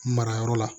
Mara yɔrɔ la